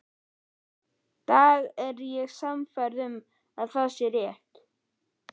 dag er ég sannfærð um að það er rétt.